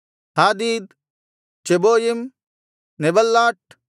ಹಾದೀದ್ ಚೆಬೋಯಿಮ್ ನೆಬಲ್ಲಾಟ್